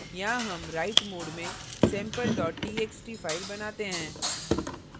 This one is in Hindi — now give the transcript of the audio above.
यहाँ हम write mode में sample txt file बनाते हैं